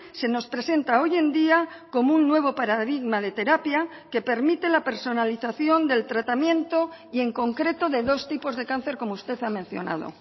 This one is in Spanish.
se nos presenta hoy en día como un nuevo paradigma de terapia que permite la personalización del tratamiento y en concreto de dos tipos de cáncer como usted ha mencionado